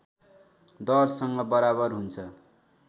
दरसँग बराबर हुन्छ